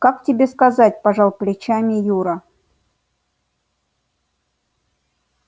как тебе сказать пожал плечами юра